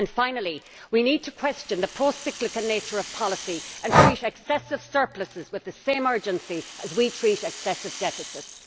And finally, we need to question the procyclical nature of policy, and to treat excessive surpluses with the same urgency as we treat excessive deficits.